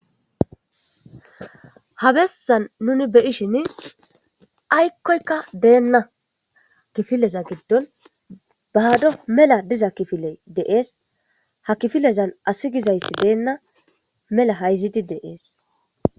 habessan nuni beyishin aykkoykka deenna kifileza giddon bahado mela diza kifiley deees ha kifilezan asi gizayti deenna mela hayzidi deees